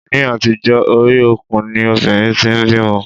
Ni àtijó, orí okùn ni obìnrin tí ń bímọ.